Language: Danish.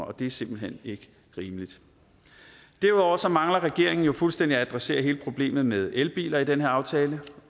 og det er simpelt hen ikke rimeligt derudover mangler regeringen jo fuldstændig at adressere hele problemet med elbiler i den her aftale